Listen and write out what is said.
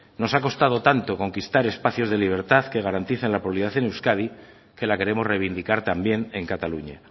nos ha costado tanto conquistar espacios de libertad que garanticen la en euskadi que la queremos reivindicar también en cataluña